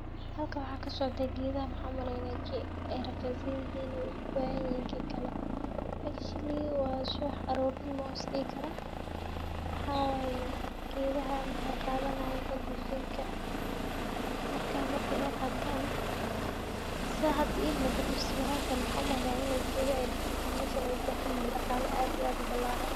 Xaalkan waxa kasocda geeda maxan umaleyna ay ragisanyixiin, oo ubaxanyixin kikale, actually wa subaax arornimo isxidi karaa, waxa waye gedada maxau qadanayan oxygen ka, marka marki ay qataan, saa xadha imugato sawirantan waxan umaleya inay gedaaxa ay diditen, meshan ay ubaxanyixiin daqalaa aad iyo aad ubilaraan.